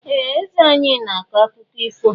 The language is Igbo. Ee! Eze anyị na-akọ akụkọ ifo.